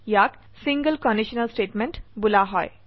ইয়াক ছিংলে conditional statement বোলা হয়